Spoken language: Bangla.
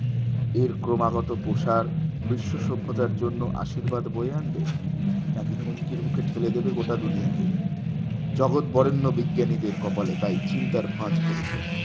এর ক্রমাগত প্রসার বিশ্ব সভ্যতার জন্য আশীর্বাদ বয়ে আনবে নাকি হুমকির মুখে ঠেলে দেবে গোটা দুনিয়াকে জগৎ বরেণ্য বিজ্ঞানীদের কপালে তাই চিন্তার ভাঁজ পড়েছে